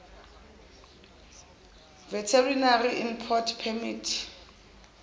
veterinary import permit